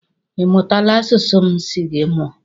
Ị mụtala asụsụ m si gị mụọ?